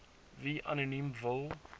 wie anoniem wil